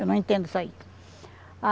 Eu não entendo isso aí.